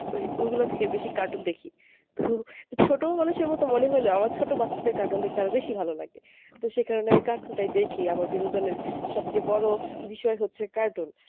ওই ঐগুলা থেকে বেশি cartoon দেখি তো ছোটো মানুষ এর মতো মনে হইলেও আমার ছোটো বাচ্চাদের cartoon দেখতে আরো বেশি ভালো লাগে। তো সেই কারণে আমি cartoon টাই দেখি আমার বিনোদন এর সবচেয়ে বড় বিষয় হচ্ছে cartoon.